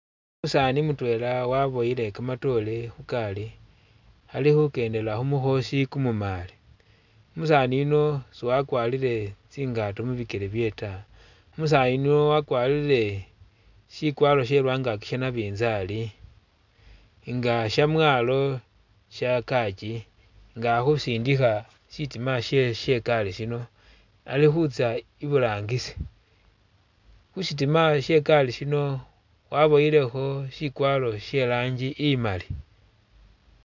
Umusaani mutwela waboyile kamatore khu gari ali khukendela khu mukhoosi kumumaale. Umusaani yuno siwakwarire tsingaato mubikele byewe ta, umusaani yuno wakwarire syikwaaro sye lwangaaki sya nabinzaali nga syamwalo sya kaki nga ali khusindikha syitima sye i'gari syino ali khutsya iburangisi. Khu syitima sye igari syino waboyilekho syikwaro sye rangi imali.